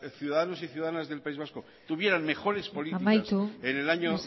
ciudadanos y ciudadanas del país vasco tuvieran mejores políticas en el año